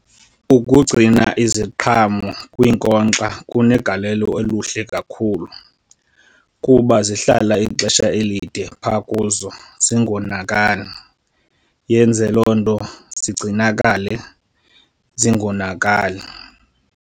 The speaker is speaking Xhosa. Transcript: Ukugcina iziqhamo kwiinkonkxa kunegalelo oluhle kakhulu kuba zihlala ixesha elide phaa kuzo zingonakali. Yenze loo nto zigcinakale zingonakali.